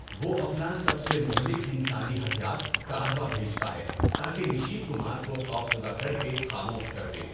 وہ اپنا سب سے مہلک انسانی ہتھیار، کاروا بھیجتا ہے تاکہ نشیت کمار کو خوفزدہ کر کے خاموش کر دے۔